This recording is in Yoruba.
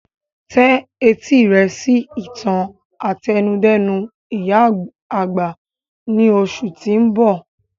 Tẹ etí rẹ sí ìtàn àtẹnudẹ́nu ìyá àgbà ni oṣù ti oun bọ!